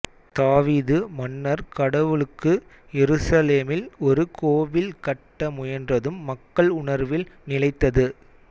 தாவீது மன்னர் கடவுளுக்கு எருசலேமில் ஒரு கோவில் கட்ட முயன்றதும் மக்கள் உணர்வில் நிலைத்தது